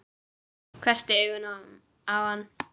Hvessti augun á hann.